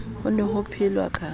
ho ne ho phelwa ka